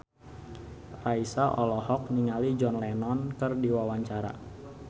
Raisa olohok ningali John Lennon keur diwawancara